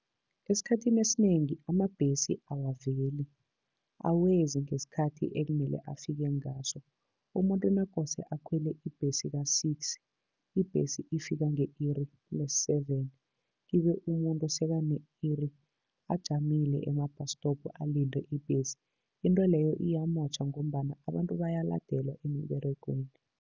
Esikhathini esinengi amabhesi awaveli, awezi ngesikhathi ekumele afike ngaso. Umuntu nakose akhwele ibhesi ka-six, ibhesi ifika nge-iri le-seven, kibe umuntu sekane-iri ajamile ema-bus stop, alinde ibhesi. Into leyo iyamotjha ngombana abantu bayaladelwa emiberegweni.